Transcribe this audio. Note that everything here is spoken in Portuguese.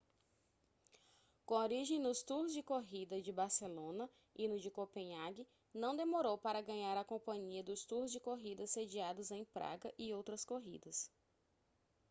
com origem nos tours de corrida de barcelona e no de copenhague não demorou para ganhar a companhia dos tours de corrida sediados em praga e outras corridas